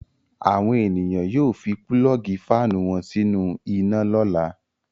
Àwọn ènìyàn yóò fi pulọ́ọ́gì fáánù wọn sínú iná lọ́la.